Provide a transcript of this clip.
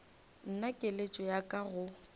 nna keletšo ya ka go